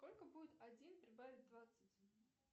сколько будет один прибавить двадцать